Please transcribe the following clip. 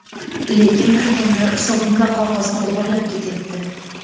Lekin kirganlar sovun va qog‘ozni o‘g‘irlab ketyapti.